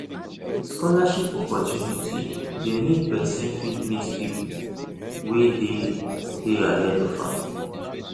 scholarship opportunity de make persin fit mix pipo wey de de ahead of am